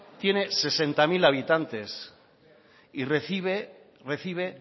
tiene sesenta mil habitantes y recibe